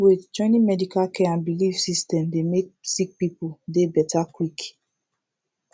waitjoining medical care and bilif system dey mek sik pipul dey beta quick